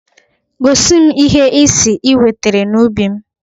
Gosi m ihe ị sị ị wetere n'ubi m!